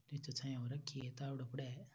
नीचे छाया हो रखी है तावड़ो पड़े है।